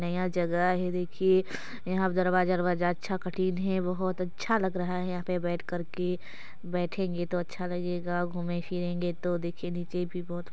नया जगह हैं देखिये यहाँ दरवाजा-वरवाजा अच्छा कठिन हैं बहुत अच्छा लग रहा हैं यहाँ बैठ कर के बैठेंगे तो अच्छा लगेगा घूमे फिरेंगे तो देखिये निचे भी बहुत--